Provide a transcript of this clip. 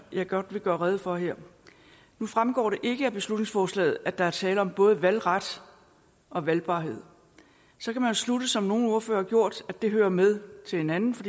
godt vil gøre rede for her nu fremgår det ikke af beslutningsforslaget at der er tale om både valgret og valgbarhed så kan man slutte som nogle ordførere har gjort at det hører med til hinanden for